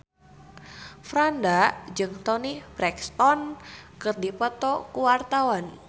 Franda jeung Toni Brexton keur dipoto ku wartawan